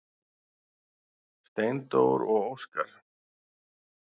Steindór og Óskar.